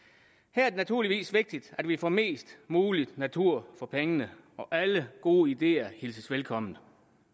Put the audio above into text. her er det naturligvis vigtigt at vi får mest mulig natur for pengene og alle gode ideer hilses velkommen